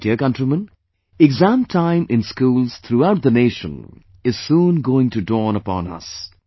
My dear countrymen, exam time in schools throughout the nation is soon going to dawn upon us